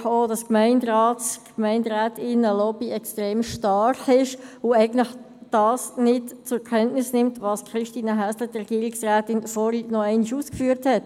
Ich merke auch, dass die Lobby der Gemeinderätinnen und Gemeinderäte hier extrem stark ist und eigentlich nicht zur Kenntnis nimmt, was Regierungsrätin Häsler vorhin nochmals ausgeführt hat.